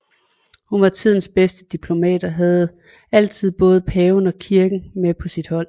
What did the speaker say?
Hun var tidens bedste diplomat og havde altid både paven og kirken med på sit hold